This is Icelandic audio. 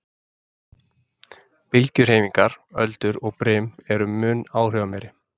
Bylgjuhreyfingar, öldur og brim, eru mun áhrifameiri.